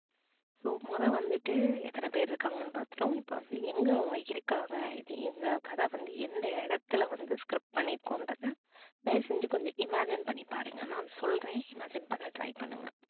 so மொத வந்துட்டு எத்தனை பேர் இருக்காங்கனு பாத்துட்டோம் இப்ப வந்து எங்க அவங்க இருக்காங்க இந்த கதை வந்து எந்த இடத்துல வந்து script பண்ணி இருக்கோன்றத தயவு செஞ்சு கொஞ்சம் imagine பண்ணி பாருங்க. நான் சொல்றேன் imagine பண்ண try பண்ணுங்க